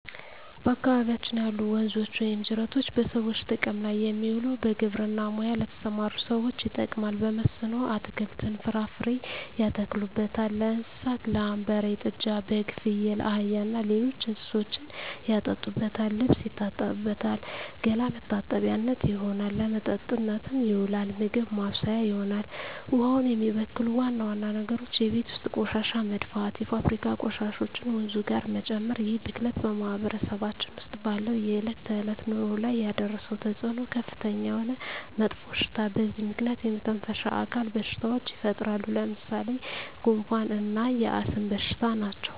በአካባቢያችን ያሉ ወንዞች ወይም ጅረቶች በሰዎች ጥቅም ላይ የሚውለው በግብርና ሙያ ለተሠማሩ ሠዎች ይጠቅማል። በመስኖ አትክልትን፣ ፍራፍሬ ያተክሉበታል። ለእንስሳት ላም፣ በሬ፣ ጥጃ፣ በግ፣ ፍየል፣ አህያ እና ሌሎች እንስሶችን ያጠጡበታል፣ ልብስ ይታጠብበታል፣ ገላ መታጠቢያነት ይሆናል። ለመጠጥነት ይውላል፣ ምግብ ማብሠያ ይሆናል። ውሃውን የሚበክሉ ዋና ዋና ነገሮች የቤት ውስጥ ቆሻሻ መድፋት፣ የፋብሪካ ቆሻሾችን ወንዙ ጋር መጨመር ይህ ብክለት በማህበረሰባችን ውስጥ ባለው የዕለት ተዕለት ኑሮ ላይ ያደረሰው ተፅዕኖ ከፍተኛ የሆነ መጥፎሽታ በዚህ ምክንያት የመተነፈሻ አካል በሽታዎች ይፈጠራሉ። ለምሣሌ፦ ጉንፋ እና የአስም በሽታ ናቸው።